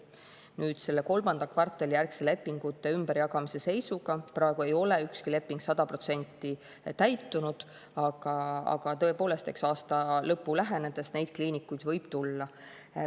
Nüüd selle kolmanda kvartali järgse lepingute ümberjagamise seisuga praegu ei ole ükski leping 100% täitunud, aga tõepoolest, eks aasta lõpu lähenedes neid kliinikuid võib tulla.